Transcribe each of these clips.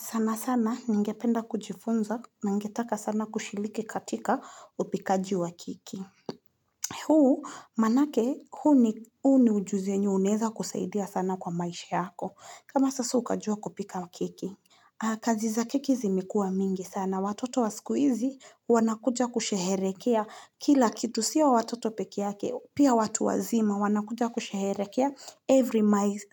Sana sana ningependa kujifunza na ningetaka sana kushiriki katika upikaji wa keki. Huu maanake huu ni ujuzi yenye unaeza kusaidia sana kwa maisha yako. Kama sasa ukajua kupika keki. Kazi za keki zimekuwa mingi sana. Watoto wa siku hizi wanakuja kusheherekea kila kitu. Sio watoto peke yake, pia watu wazima wanakuja kusheherekea every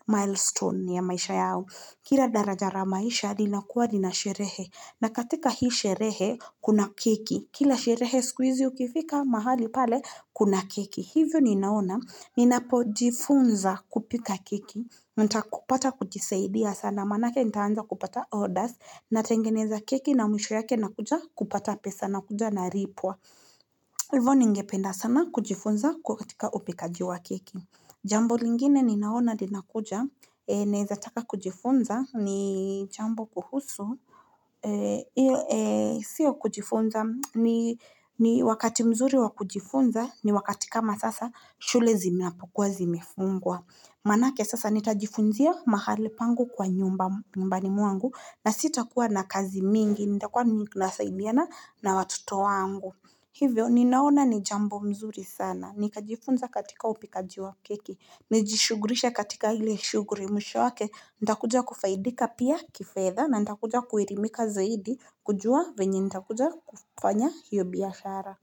milestone ya maisha yao. Kila daraja la maisha linakuwa lina sherehe na katika hii sherehe kuna keki. Kila sherehe siku hizi ukifika mahali pale kuna keki. Hivyo ninaona ninapojifunza kupika keki, nitapata kujisaidia sana maanake nitaanza kupata orders. Natengeneza keki na mwisho yake nukuja kupata pesa nakuja nalipwa. Hivyo ningependa sana kujifunza kuwa katika upikaji wa keki Jambo lingine ninaona linakuja, naeza taka kujifunza, ni jambo kuhusu, sio kujifunza, ni wakati mzuri wa kujifunza, ni wakati kama sasa, shule zinapokuwa zimefungwa. Maanake sasa nitajifunzia mahali pangu kwa nyumbani mwangu, na sitakuwa na kazi mingi, nitakuwa nasaidiana na watoto wangu. Hivyo ninaona ni jambo mzuri sana, nikajifunza katika upikaji wa keki, nijishughulishe katika ile shughuli mwisho wake, nitakuja kufaidika pia kifedha na nitakuja kuelimika zaidi kujua venye nitakuja kufanya hiyo biashara.